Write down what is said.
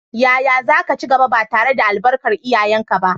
Yaya za ka ci gaba, ba tare da albarkar iyayenka ba?